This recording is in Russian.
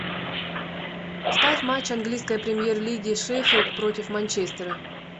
ставь матч английской премьер лиги шеффилд против манчестера